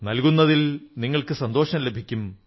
ഈശ്വരൻ നിങ്ങളുടെ എല്ലാ പ്രവൃത്തികളെയും അനുഗ്രഹിക്കും